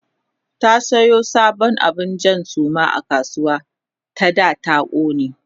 ta Sayo sabon abun Jan Suma a kasuwa ta da ta kone